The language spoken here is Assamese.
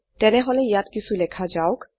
তেনেহলে ইয়াত কিছু লেখা যাওক